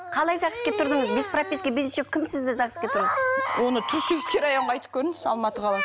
қалай загс ке тұрдыңыз без прописка без ничего кім сізді загс ке тұрғызды оны түркісібский районға айтып көріңіз алматыға